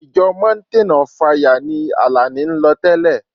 Ìjọ mountain of fire ni Àlàní ń lọ tẹ́lẹ̀.